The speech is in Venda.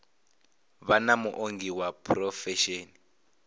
vha na muongi wa phurofesheni